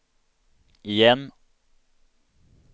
igen